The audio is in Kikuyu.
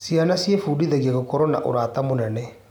Ciana ciĩbundithagia gũkorwo na ũrata mũnene.